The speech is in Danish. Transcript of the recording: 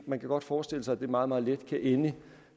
man kan godt forestille sig at det meget meget let kan ende